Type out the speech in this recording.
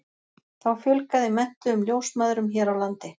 þá fjölgaði menntuðum ljósmæðrum hér á landi